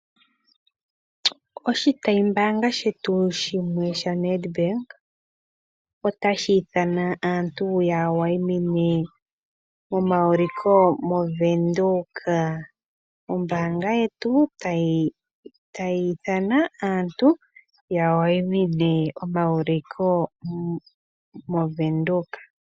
Oshitayimbaanga shetu shimwe shaNedank otashi ithana aantu ya wayimine momauliko moWindhoek. Ombaanga yetu otayi ithana aantu ya wayimine omauliko moWindhoek.